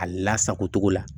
A lasago cogo la